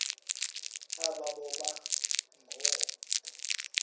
aba boba ngoo